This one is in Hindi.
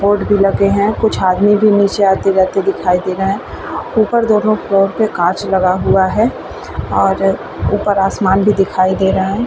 बोर्ड भी लगे हैं कुछ आदमी भी आते-जाते दिखाई दे रहे हैं। ऊपर दोनों फ्लोर पे कांच लगा हुआ है और अ ऊपर आसमान भी दिखाई दे रहा है।